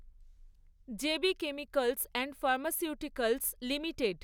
J B chemicals and pharmaceuticals limited